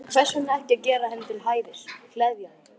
Hvers vegna ekki að gera henni til hæfis, gleðja hana?